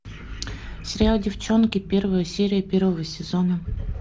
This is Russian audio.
сериал деффчонки первая серия первого сезона